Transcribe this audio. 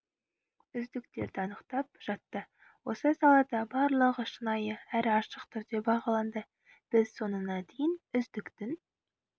үздіктерді анықтап жатты осы салада барлығы шынайы әрі ашық түрде бағаланды біз соңына дейін үздіктің